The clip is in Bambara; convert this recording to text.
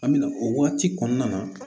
An bɛna o waati kɔnɔna na